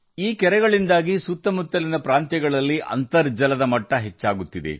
ಈ ಕೆರೆಗಳಿಂದಾಗಿ ಸುತ್ತಮುತ್ತಲಿನ ಪ್ರದೇಶಗಳ ಅಂತರ್ಜಲ ಮಟ್ಟ ಏರಿಕೆಯಾಗಿದೆ